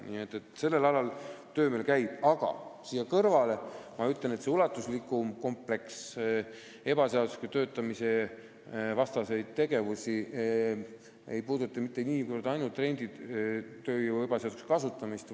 Nii et sellel alal meil töö käib, aga siia kõrvale ma ütlen, et ulatuslikum kompleks ebaseadusliku töötamise vastaseid tegevusi ei puuduta mitte ainult renditööjõu ebaseaduslikku kasutamist.